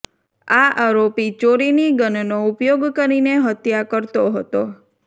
આ આરોપી ચોરીની ગનનો ઉપયોગ કરીને હત્યા કરતો હતો